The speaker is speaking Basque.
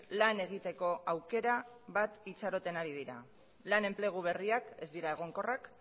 lan egiteko aukera bat itxaroten ari dira lan enplegu berriak ez dira egonkorrak